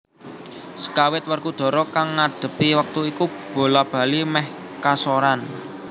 Sekawit Werkudara kang ngadhepi wektu iku bola bali meh kasoran